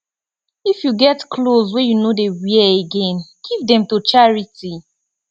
if you get clothes wey you no dey wear again give dem to charity